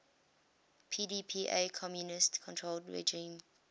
pdpa communist controlled regime